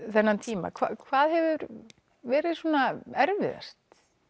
þennan tíma hvað hefur verið svona erfiðast